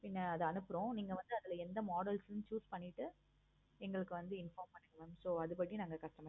பின்ன அத அனுப்புறோம். நீங்க வந்து அதுல என்ன models choose பண்ணிட்டு எங்களுக்கு வந்து inform பண்ணுங்க mam so அது படி நாங்க customize பன்றோம்.